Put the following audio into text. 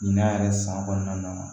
Ɲinɛ yɛrɛ san kɔnɔna na